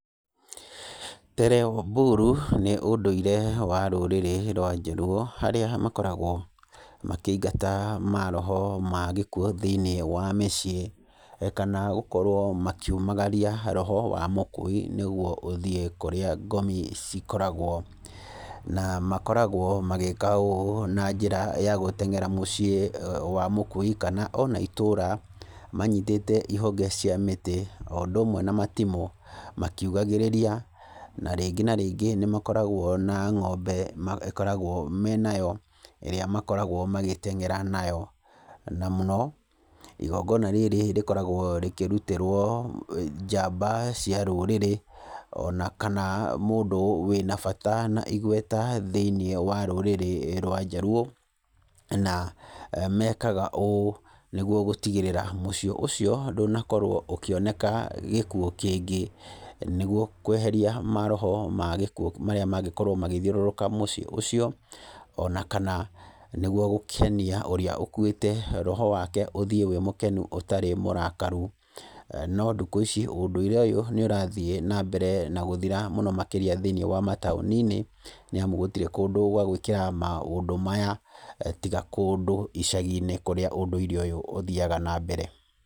"Tero Buru" nĩ ũndũire wa rũrĩrĩ rwa Jaluo harĩa makoragwo makĩingata maroho ma gĩkuo thĩinĩ wa mĩciĩ kana gũkorwo makĩumagaria roho wa mũkui nĩguo ũthiĩ kũrĩa ngomi cikoragwo. Na makoragwo magĩka ũũ na njĩra ya gũtengera mũciĩ wa mũkui kana ona itũũra manyitĩte ihonge cia mĩtĩ o ũndũ ũmwe na matimũ, makiugagĩrĩria. Na rĩngĩ na rĩngĩ nĩ makoragwo na ng'ombe makoragwo nayo ĩrĩa makoragwo magĩtengera nayo. Na mũno igongona rĩrĩ rĩkoragwo rĩkĩrutĩrwo njamba cia rũũrĩrĩ ona kana mũndũ wĩna bata na igweta thĩinĩ wa rũrĩrĩ rwa Jaluo. Na mekaga ũũ nĩguo gũtigĩrĩra mũciĩ ũcio ndũnakorwo ũkĩoneka gĩkuo kĩngĩ, nĩguo kweheria maroho ma gĩkuo marĩa mangĩkorwo magĩthiũrũrũka mũciĩ ũcio. Ona kana nĩguo gũkenia ũrĩa ũkuĩte, roho wake ũthiĩ wĩ mũkenu ũtarĩ mũrakaru. No thikũ ici ũũndũire ũyũ nĩ ũrathiĩ na mbere na gũthira mũno makĩrĩa thĩinĩ wa mataũni-inĩ, nĩ amu gũtirĩ kũndũ gwa gwĩkĩra maũndũ maya tiga kũndũ icagi-inĩ kũrĩa ũndũ ũyũ ũthiaga na mbere.